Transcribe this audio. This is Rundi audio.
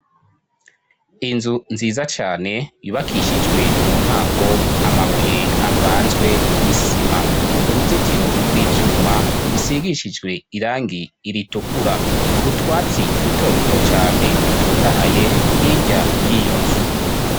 inzu nziza cane yubakishijwe mu ntango amabuye avanzwe n'isima uruzitiro rw'ivyuma rusigishijwe irangi ritukura utwatsi duto duto cane dutotahaye hirya yiyonzu.